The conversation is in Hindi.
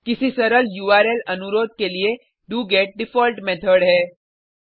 किसी सरल उर्ल अनुरोध के लिए डोगेट डिफ़ॉल्ट मेथड है